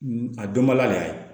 A dɔnbaliya de y'a ye